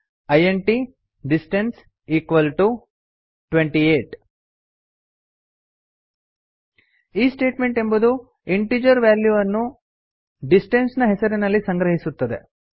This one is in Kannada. ಇಂಟ್ ಡಿಸ್ಟನ್ಸ್ ಇಕ್ವಾಲ್ ಟಿಒ 28 ಈ ಸ್ಟೇಟ್ಮೆಂಟ್ ಎಂಬುದು ಇಂಟಿಜೆರ್ ವ್ಯಾಲ್ಯೂ ಅನ್ನು ಡಿಸ್ಟನ್ಸ್ ನ ಹೆಸರಿನಲ್ಲಿ ಸಂಗ್ರಹಿಸುತ್ತದೆ